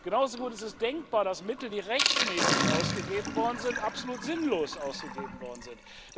Genauso gut ist es denkbar, dass Mittel, die rechtmäßig ausgegeben worden sind, absolut sinnlos ausgegeben worden sind.